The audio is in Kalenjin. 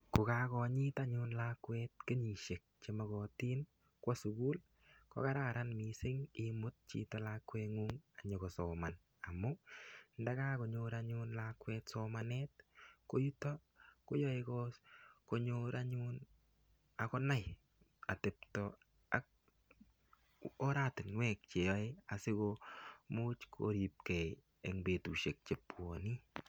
Kokakonyit anyun lakwet kenyishek chemokotin kwo sukul, kokararan imut chito lakweng'ung konyikosoman. Amun ndakakonyor anyun lakwet somanet ko yutok koyaei konyor anyun akonai atepto ak oratinwek cheyoei asikomuch koripgei eng petushek chebwoni.